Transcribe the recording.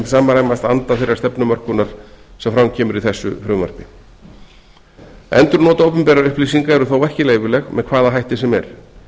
samræmast anda þeirrar stefnumörkunar sem fram kemur í þessu frumvarpi endurnot opinberra upplýsinga eru þó ekki leyfileg með hvaða hætti sem er